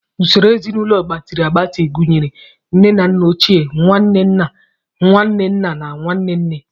Usoro ezinaụlọ gbatịrị agbatị gụnyere nne na nna ochie, nwanne nna, nwanne nna, na nwanne nne.